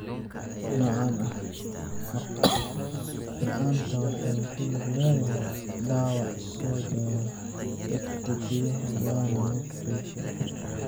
Noocan ah maqal la'aanta waxay ku lug leedahay dhaawac soo gaara dhegta gudaha waana mid joogto ah.